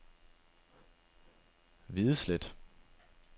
Videslet